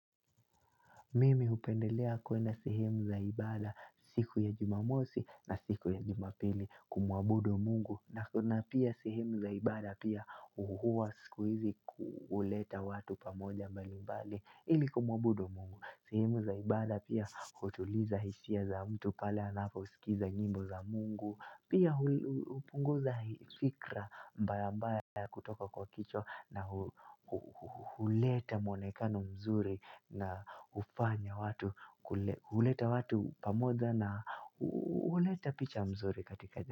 Mimi hupendelea kwenda sehemu za ibada siku ya jumamosi na siku ya jumapili kumuabudu Mungu na kuna pia sehemu za ibada pia huwa sikuhizi huleta watu pamoja mbali mbali ili kumuabudu Mungu. Sehemu za ibada pia hutuliza hisia za mtu pale anaposikiza nyimbo za Mungu Pia hupunguza fikra mbaya mbaya kutoka kwa kichwa na huleta muonekano mzuri na huleta watu pamoja na huleta picha nzuri katika jamii.